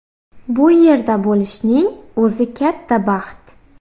Bu yerda bo‘lishning o‘zi katta baxt.